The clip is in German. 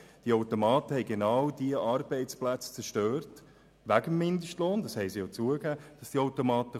Diese Automaten haben genau diese Arbeitsplätze zerstört, und dies wegen des Mindestlohns, wie es auch von den Arbeitgebern zugegeben wurde.